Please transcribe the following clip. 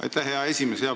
Aitäh, hea esimees!